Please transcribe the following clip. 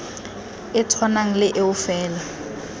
e tshwanang le eo fela